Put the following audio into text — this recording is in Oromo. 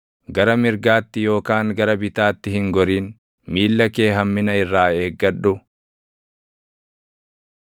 Gara mirgaatti yookaan gara bitaatti hin gorin; miilla kee hammina irraa eeggadhu.